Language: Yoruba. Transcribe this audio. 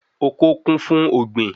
Oko kún fún ògbìn